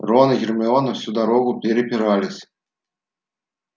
рон и гермиона всю дорогу препирались